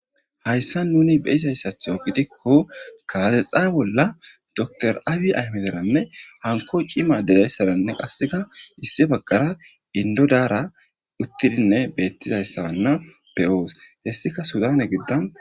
hayssa nuni beisayssatho gidikko kaasexaa bolla dotor aawi aymederanne hanko cima degayssaranne qasseka issi baggara indodaara uttidinne beettizayssanna beyoos hessika sudane giddan